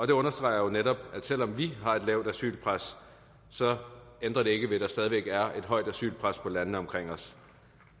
det understreger jo netop at selv om vi har et lavt asylpres ændrer det ikke ved at der stadig væk er et højt asylpres på landene omkring os